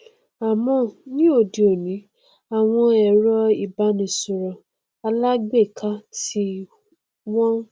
àmọ ní òde òní àwọn ẹrọ ìbánisọrọ alágbèéká tí wọn